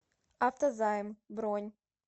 автозайм бронь